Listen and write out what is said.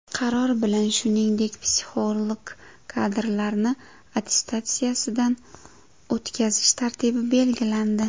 Qaror bilan shuningdek, psixolog kadrlarni attestatsiyadan o‘tkazish tartibi belgilandi.